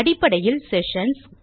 அடிப்படையில் செஷன்ஸ்